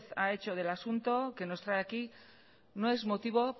ha hecho del asunto que nos trae aquí no es motivo